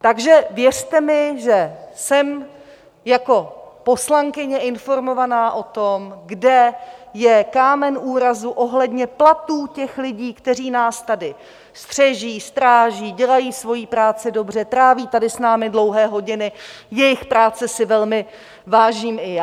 Takže věřte mi, že jsem jako poslankyně informovaná o tom, kde je kámen úrazu ohledně platů těch lidí, kteří nás tady střeží, stráží, dělají svoji práci dobře, tráví tady s námi dlouhé hodiny, jejich práce si velmi vážím i já.